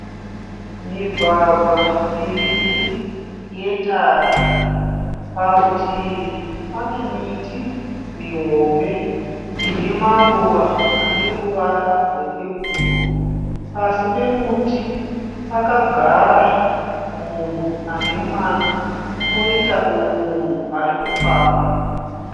Migwagwa miviri yetara. Parutivi pane miti mihombe ine maruva ane ruvara rwepepuro. Pasi pemuti pakagara munhu ane mwana kwoita mumwe munhu arikufamba.